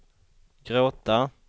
gråta